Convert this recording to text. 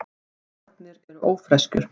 Nornir eru ófreskjur.